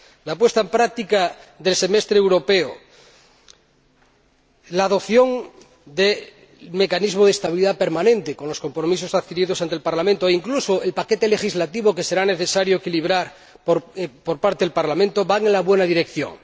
La puesta en práctica del semestre europeo, la adopción del mecanismo de estabilidad permanente, con los compromisos adquiridos ante el Parlamento, e incluso el paquete legislativo, que será necesario equilibrar por parte del Parlamento, van en la buena dirección.